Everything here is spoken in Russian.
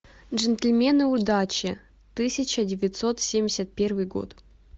джентльмены удачи тысяча девятьсот семьдесят первый год